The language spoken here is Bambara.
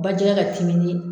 Bajɛgɛ katimi ni